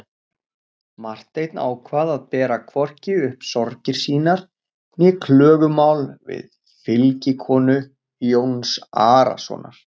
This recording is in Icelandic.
Marteinn ákvað að bera hvorki upp sorgir sínar né klögumál við fylgikonu Jóns Arasonar.